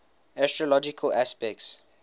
astrological aspects